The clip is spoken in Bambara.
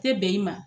Tɛ bɛn i ma